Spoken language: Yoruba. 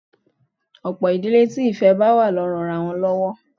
Ọ̀pọ̀ ìdílé tí ìfẹ́ wà ló ń ranra wọn lọ́wọ́